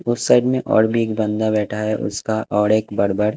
उस साइड में और भी एक बंदा बैठा है उसका और एक बड़ बड़--